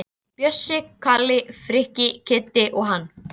Bjössi, Kalli, Frikki, Kiddi og hann.